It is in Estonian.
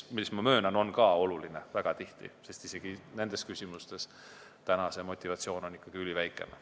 Ehkki ma möönan, et viimane on ka väga tihti oluline, sest praegu on isegi nendes küsimustes motivatsioon üliväikene.